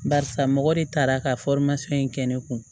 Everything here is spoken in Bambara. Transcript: Barisa mɔgɔ de taara ka in kɛ ne kun